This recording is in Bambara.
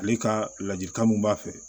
Ale ka ladilikan mun b'a fɛ